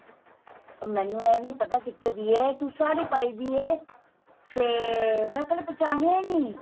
ਮੈਨੂੰ ਇਹ ਨੀਂ ਪਤਾ ਕਿੱਥੇ ਦੀ ਏ ਤੂੰ ਸਾੜੀ ਪਾਈ ਪੀ ਏ ਤੇ ਮੈਂ ਪਹਿਲੇ ਪਹਿਚਾਣੀਆਂ ਈ ਨੀਂ